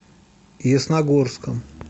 ясногорском